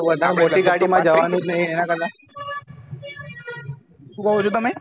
વધારે મોટી ગાડી માં જવા નું જ નહિ શું કહો છો તમે